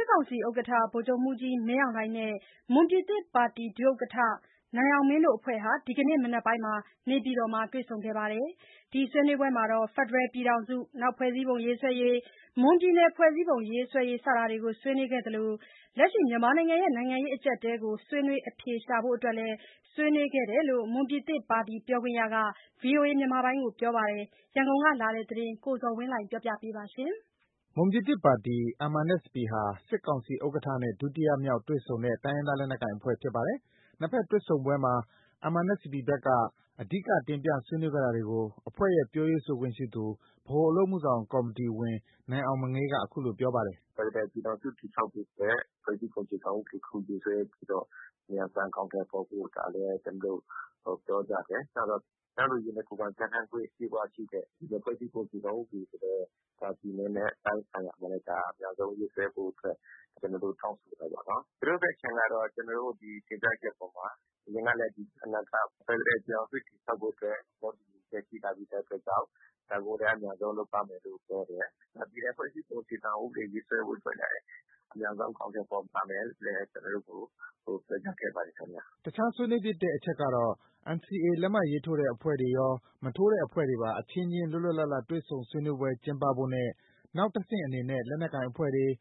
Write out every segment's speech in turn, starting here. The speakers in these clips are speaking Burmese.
စ်ကောင်စီဥက္ကဋ္ဌ ဗိုလ်ချုပ်မှူးကြီးမင်းအောင်လှိုင်နဲ့ မွန်ပြည်သစ်ပါတီ NMSP ဒုဥက္ကဋ္ဌ နိုင်အောင်မင်းတို့ အဖွဲ့ဟာ ဒီကနေ့ မနက်ပိုင်းက နေပြည်တော်မှာ တွေ့ဆုံခဲ့ပါတယ်။ ဒီဆွေးနွေးပွဲမှာတော့ ဖက်ဒရယ်ပြည်ထောင်စု ဖွဲ့စည်းပုံရေးဆွဲရေး၊ မွန်ပြည်နယ် ဖွဲ့စည်းပုံရေးဆွဲရေး စတာတွေ ဆွေးနွေးခဲ့သလို လက်ရှိ နိုင်ငံရေးအကြပ်အတည်းကို ဆွေးနွေးအဖြေရှာဖို့အတွက် လည်း ဆွေးနွေးခဲ့ကြတယ်လို့ NMSP ပြောခွင့်ရက VOA ကို ပြောပါတယ်။ ရန်ကုန်ကလာတဲ့ သတင်းကို ကိုဇော်ဝင်းလှိုင်က တင်ပြထားပါတယ်။ မွန်ပြည်သစ်ပါတီ NMSP ဟာ စစ်ကောင်စီဥက္ကဋ္ဌနဲ့ ဒုတိယမြောက်တွေ့ဆုံတဲ့ တိုင်းရင်းသား လက်နက်ကိုင်အဖွဲ့ဖြစ်ပါတယ်။ နှစ်ဘက်တွေ့ဆုံပွဲမှာ NMSP ဘက်က အဓိက တင်ပြဆွေးနွေးခဲ့တာတွေကို အဖွဲ့ရဲ့ ပြောရေးဆိုခွင့်ရှိသူ ဗဟိုအလုပ်အမှုဆောင်ကော်မတီဝင် နိုင်အောင်မငေးက အခုလို ပြောပါတယ်။ “ဖက်ဒရယ်ပြည်ထောင်စုတည်ဆောက်ဖို့အတွက် အခြေခံဥပဒေ အမြန်ဆုံးရေးဆွဲပြီးတော့ အမြန်အဆန်အကောင်အထည်ဖော်ဖို့ ဒါလည်း ကျနော်တို့ ပြောကြတယ်။ နောက်တော့ တန်းတူရေးနဲ့ ကိုယ်ပိုင်ပြဌာန်းခွင့်အပြည့်အဝရှိတဲ့ ပြည်နယ်ဖွဲ့စည်းပုံအခြေခံဥပဒေကိုလည်း ဒါပြည်နယ်နဲ့ တိုင်းဆိုင်ရာမှာလည်း အမြန်ဆုံးရေးဆွဲဖို့ ကျနော်တို့ တောင်းဆိုတာပေါ့နော်။ သူတို့ ဘက်ခြမ်းကတော့ ကျနော်တို့ ဒီတင်ပြချက်အပေါ်မှာ အရင်ကလည်း ဒီအနာဂတ် ဖက်ဒရယ် ပြည်ထောင်စု တည်ဆောက်ဖို့အတွက် သဘောတူညီချက်ရှိထားတဲ့အတွက်ကြောင့် ဒါကိုလည်း အမြန်ဆုံးလုပ်ပါမယ်လို့ ပြောတယ်။ ပြည်နယ်ဖွဲ့စည်းပုံအခြေခံဥပဒေ ရေးဆွဲဖို့ အတွက်လည်း အမြန်ဆုံးအကောင်အထည်ဖော်ပါမယ်လို့လည်း ကျနော်တို့ကို ပြောကြားခဲ့ပါတယ်ခင်ဗျ။” အခြား ဆွေးနွေးဖြစ်တဲ့အချက်တော့ NCA လက်မှတ်ထိုးတဲ့အဖွဲ့တွေရော၊ မထိုးတဲ့အဖွဲ့တွေပါ အချင်းချင်း လွတ်လွတ်လပ်လပ်တွေ့ဆုံဆွေးနွေးပွဲ ကျင်းပဖို့နဲ့ နောက် တဆင့်အနေနဲ့ လက်နက်ကိုင်အဖွဲ့တွေ၊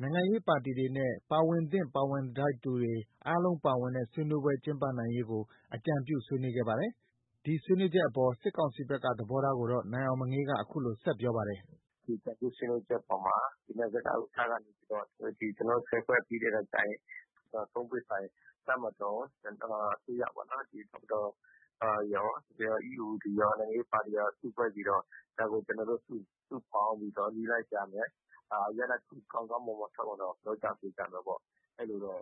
နိုင်ငံရေးပါတီတွေနဲ့ ပါဝင်သင့်ပါဝင်ထိုက်သူတွေ အားလုံးပါဝင်တဲ့ ဆွေးနွေးပွဲ ကျင်းပနိုင်ရေးကို အကြံပြုဆွေးနွေးခဲ့ပါတယ်။ ဒီဆွေးနွေးချက်အပေါ် စစ်ကောင်စီဘက်က သဘောထားကိုတော့ နိုင်အောင်မငေးက အခုလို ဆက်ပြောပါတယ်။ “ဒီအကြံပြုဆွေးနွေးချက်အပေါ်မှာ နစကဥက္ကဋ္ဌကနေပြီးတော့ ကျနော်တို့ ၁၀ ဖွဲ့ပြီးတဲ့အခါကျရင် ဘယ်လိုနည်းလမ်းနဲ့ အရင်ဆုံး အကောင်အထည်ဖော်ပြီးတော့ ကျနော်တို့ သုံးပွင့်ဆိုင် တပ်မတော် ရောအစိုးရပေါ့နော်။ တပ်မတော်၊ ပြီးတော့ EAO တွေရော၊ နိုင်ငံရေးပါတီတွေ စုဖွဲ့ပြီးတော့ ဒါကို ကျနောတို့ စုပေါင်းပြီးတော့ နည်းလမ်းရှာမယ်။ ရလဒ်တခု ထွက်လာအောင်တော့ ပြောကြဆိုကြမယ်ပေါ့။ အဲလိုတော့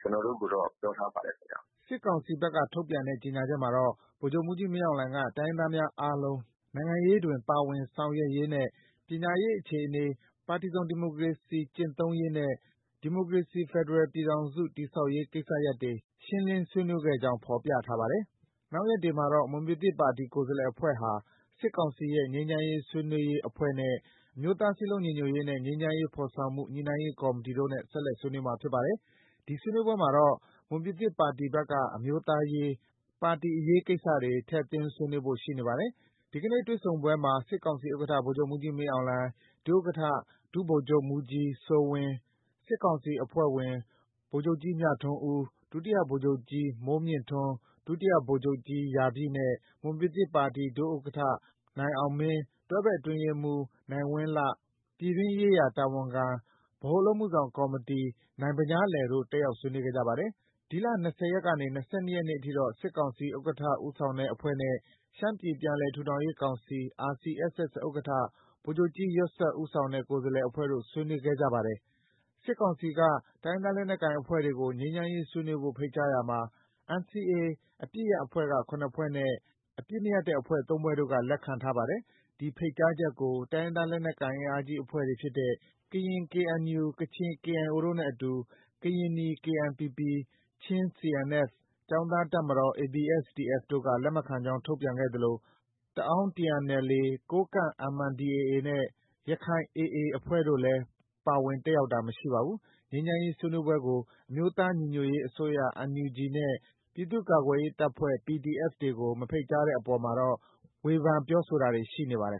ကျနော်တို့ကိုတော့ ပြောထားပါတယ်ခင်ဗျ။ ” စစ်ကောင်စီဘက်ကထုတ်ပြန်တဲ့ ကြေညာချက်မှာတော့ ဗိုလ်ချုပ်မှူးကြီးမင်းအောင်လှိုင်က တိုင်းရင်းသားများအားလုံး နိုင်ငံရေးတွင် ပါဝင်ဆောင်ရွက်ရေးနဲ့ ပညာရေးအခြေအနေ၊ ပါတီစုံဒီမိုကရေစီစနစ်ကျင့်သုံးရေးနဲ့ ဒီမိုကရေစီ ဖက်ဒရယ်ပြည်ထောင်စု တည်ဆောက်ရေး ကိစ္စရပ်တွေ ရှင်းလင်းဆွေးနွေးခဲ့ကြောင်း ဖော်ပြထားပါတယ်။ နောက်ရက်တွေမှာတော့ မွန်ပြည်သစ်ပါတီ ကိုယ်စားလှယ်အဖွဲ့ဟာ စစ်ကောင်စီရဲ့ ငြိမ်းချမ်းရေးဆွေးနွေးရေးအဖွဲ့နဲ့ အမျိုးသားစည်းလုံးညီညွတ်ရေးနဲ့ ငြိမ်းချမ်းရေး ဖော်ဆောင်မှုညှိနှိုင်းရေးကော်မတီတို့နဲ့ ဆက်လက် ဆွေးနွေးမှာ ဖြစ်ပါတယ်။ ဒီဆွေးနွေးပွဲတွေမှာတော့ မွန်ပြည်သစ်ပါတီဘက်က အမျိုးသားရေး၊ ပါတီအရေးကိစ္စတွေ ထည့်သွင်းဆွေးနွေးဖို့ ရှိနေပါတယ်။ ဒီကနေ့ တွေ့ဆုံပွဲမှာ စစ်ကောင်စီဥက္ကဋ္ဌ ဗိုလ်ချုပ်မှူးကြီးမင်းအောင်လှိုင်၊ ဒုဥက္ကဋ္ဌ ဒုဗိုလ်ချုပ်မှူးကြီးစိုးဝင်း၊ စစ်ကောင်စီအဖွဲ့ဝင် ဗိုလ်ချုပ်ကြီး မြထွန်းဦး၊ ဒုတိယဗိုလ်ချုပ်ကြီး မိုးမြင့်ထွန်း၊ ဒုတိယ ဗိုလ်ချုပ်ကြီး ရာပြည်နဲ့ မွန်ပြည်သစ်ပါတီ ဒုဥက္ကဋ္ဌ နိုင်အောင်မင်း၊ တွဲဖက်အတွင်းရေးမှူး နိုင်ဝင်းလှ၊ ပြည်တွင်းရေးရာ တာဝန်ခံ ဗဟိုအလုပ်မှုဆောင် ကော်မတီ နိုင်ဗညားလယ်တို့ တက်ရောက်ဆွေးနွေးခဲ့ကြပါတယ်။ ဒီလ ၂၀ ရက်နေ့ကနေ ၂၂ နေ့အထိကတော့ စစ်ကောင်စီ ဥက္ကဌဦးဆောင်တဲ့အဖွဲ့နဲ့ ရှမ်းပြည်ပြန်လည် ထူထောင်ရေးကောင်စီ RCSS ဥက္ကဋ္ဌ ဗိုလ်ချုပ်ကြီး ယွက်စစ် ဦးဆောင်တဲ့ ကိုယ်စားလှယ်အဖွဲ့တို့ ဆွေးနွေးခဲ့ကြပါတယ်။ စစ်ကောင်စီက တိုင်းရင်းသားလက်နက်ကိုင်အဖွဲ့တွေကို ငြိမ်းချမ်းရေးဆွေးနွေးဖို့ ဖိတ်ကြားရာမှာ NCA အပစ်ရပ်အဖွဲ့က ၇ ဖွဲ့နဲ့ အပစ်မရပ်တဲ့အဖွဲ့ ၃ ဖွဲ့တို့က လက်ခံထားပါတယ်။ ဒီဖိတ်ကြားချက်ကို တိုင်းရင်းသားလက်နက်ကိုင်အင်အားကြီးအဖွဲ့တွေဖြစ်တဲ့ ကရင် KNU၊ ကချင် KIO တို့နဲ့အတူ ကရင်နီ KNPP၊ ချင်းCNF၊ ကျောင်းသားတပ်မတော် ABSDF တို့က လက်မခံကြောင်း ထုတ်ပြန်ခဲ့သလို တအန်း TNLA၊ ကိုးကန့် MNDAA နဲ့ ရခိုင် AA အဖွဲ့တို့လည်း ပါဝင်တက်ရောက်တာ မရှိပါဘူး။ ငြိမ်းချမ်းရေးဆွေးနွေးပွဲကို အမျိုးသားညီညွတ်ရေးအစိုးရ NUG နဲ့ ပြည်သူ့ကာကွယ်ရေးတပ်ဖွဲ့တွေ PDF တွေကို မဖိတ်ကြားတဲ့အပေါ်မှာတော့ ဝေဖန်တာတွေ ရှိနေပါတယ်